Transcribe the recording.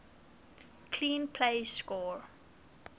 clean plays score